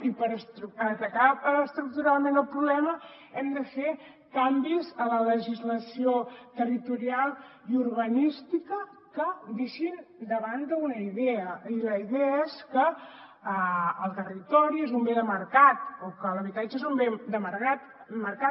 i per atacar estructuralment el problema hem de fer canvis a la legislació territorial i urbanística que deixin de banda una idea i la idea és que el territori és un bé de mercat o que l’habitatge és un bé de mercat